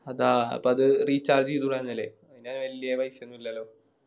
അതാ അതത് Recharge ചെയ്‌തുടാർന്നില്ലേ അയിന് വല്യ പൈസയൊന്നുല്ലലോ